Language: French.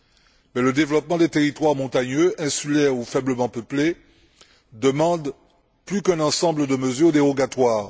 Mais le développement des territoires montagneux, insulaires ou faiblement peuplés demande plus qu'un ensemble de mesures dérogatoires.